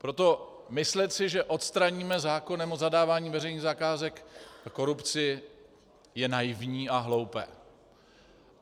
Proto myslet si, že odstraníme zákonem o zadávání veřejných zakázek korupci, je naivní a hloupé.